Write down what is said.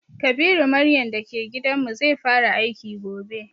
Kabiru maryan da ke gidan mu, zai fara aiki gobe.